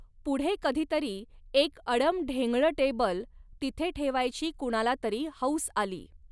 पुढे कधीतरी एक अडमढेंगळं टेबल तिथे ठेवायची कुणालातरी हौस आली.